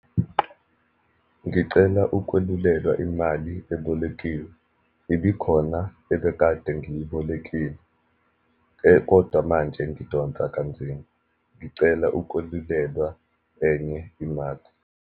Ngicela ukwelulelwa imali ebolekiwe. Ibikhona ebekade ngiyibolekile kodwa manje ngidonsa kanzima, ngicela ukwelulelwa enye imali.